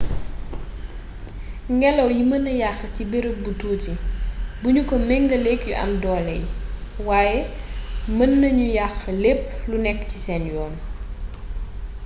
ngélaw yi meena yaxx ci beereeb bu tuuti bugnu ko mingeelék yu am doolé yi waye meennagnoo yaxx lép lu nékk ci sén yoon